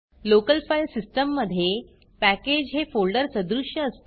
local file सिस्टीममधे package हे folder सदृश्य असते